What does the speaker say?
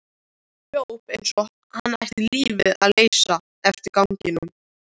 Hljóp eins og hann ætti lífið að leysa eftir ganginum.